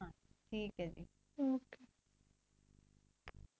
talk ਹੈ ਜੀ ok